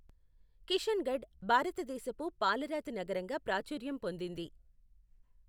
కిషన్గఢ్ భారతదేశపు పాలరాతి నగరంగా ప్రాచుర్యం పొందింది.